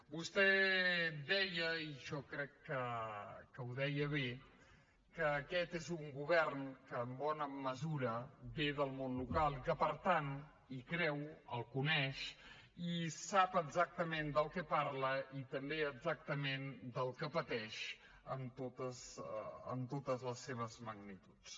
vostè deia i jo crec que ho deia bé que aquest és un govern que en bona mesura ve del món local i que per tant hi creu el coneix i sap exactament del que parla i també exactament del que pateix en totes les seves magnituds